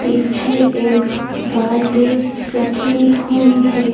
पीछे एक बाल्टी रखी हुई है।